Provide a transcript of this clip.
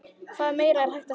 Hvað meira er hægt að segja?